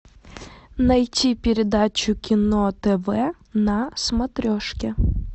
найти передачу кино тв на смотрешке